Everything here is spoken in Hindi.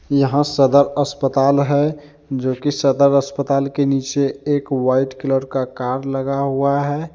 यहां सदर अस्पताल है जोकि सदर अस्पताल के नीचे एक वाइट कलर का कार्ड लगा हुआ है।